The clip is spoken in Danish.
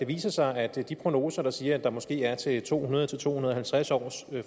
viser sig at de prognoser der siger at der måske er til mellem to hundrede og to hundrede og halvtreds års